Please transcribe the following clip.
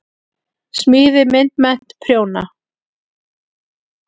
Smíði- myndmennt- prjóna